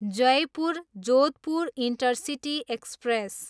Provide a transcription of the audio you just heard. Jaipur, Jodhpur intercity express